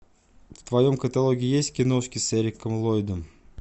в твоем каталоге есть киношки с эриком ллойдом